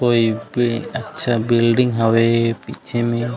कोई पि अच्छा बिल्डिंग हवे पिछे में--